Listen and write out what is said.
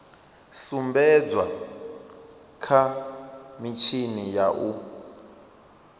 sumbedzwa kha mitshini ya u